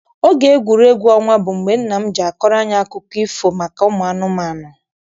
Oge egwuregwu ọnwa bụ mgbe nna m ji akọrọ anyị akụkọ ifo maka ụmụ anụmanụ.